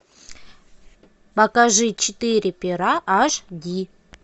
покажи четыре пера аш ди